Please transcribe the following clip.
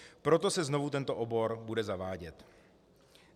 Proto se znovu tento obor bude zavádět.